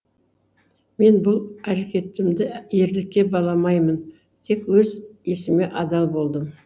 мен бұл әрекетімді ерлікке баламаймын тек өз исіме адал болдым